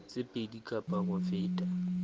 tse pedi kapa ho feta